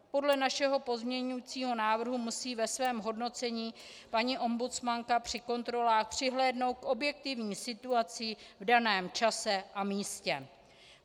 Podle našeho pozměňovacího návrhu musí ve svém hodnocení paní ombudsmanka při kontrolách přihlédnout k objektivní situaci v daném čase a místě.